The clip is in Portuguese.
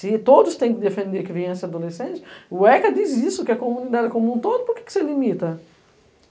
Se todos têm que defender criança e adolescente, o ECA diz isso, que a comunidade é como um todo, por que você limita?